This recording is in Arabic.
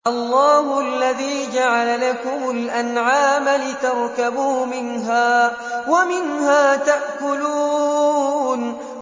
اللَّهُ الَّذِي جَعَلَ لَكُمُ الْأَنْعَامَ لِتَرْكَبُوا مِنْهَا وَمِنْهَا تَأْكُلُونَ